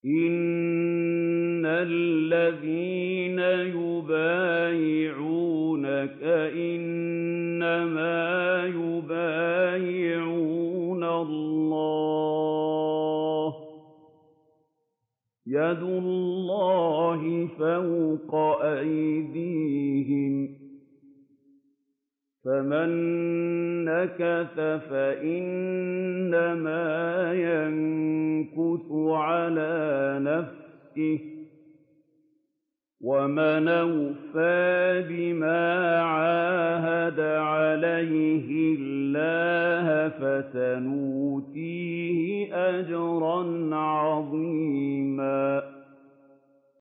إِنَّ الَّذِينَ يُبَايِعُونَكَ إِنَّمَا يُبَايِعُونَ اللَّهَ يَدُ اللَّهِ فَوْقَ أَيْدِيهِمْ ۚ فَمَن نَّكَثَ فَإِنَّمَا يَنكُثُ عَلَىٰ نَفْسِهِ ۖ وَمَنْ أَوْفَىٰ بِمَا عَاهَدَ عَلَيْهُ اللَّهَ فَسَيُؤْتِيهِ أَجْرًا عَظِيمًا